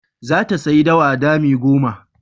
Za ta sayi dawa dami goma.